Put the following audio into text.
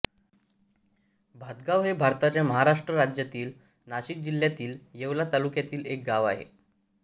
भातगाव हे भारताच्या महाराष्ट्र राज्यातील नाशिक जिल्ह्यातील येवला तालुक्यातील एक गाव आहे